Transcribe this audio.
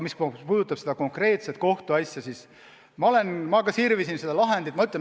Mis puudutab seda konkreetset kohtuasja, siis ma ka sirvisin seda lahendit.